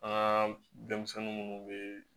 An ka denmisɛnnin minnu bɛ